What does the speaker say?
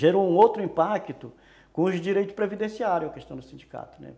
gerou um outro impacto com os direitos previdenciários, a questão do sindicato, né.